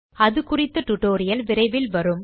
அது குறித்த டியூட்டோரியல் விரைவில் வரும்